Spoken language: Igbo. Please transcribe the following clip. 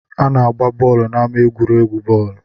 A na-agba bọọlụ n'ama egwuregwu bọọlụ.